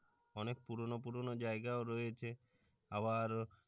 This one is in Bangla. অনেক পুরনো পুরনো জায়গাও রয়েছে আবার।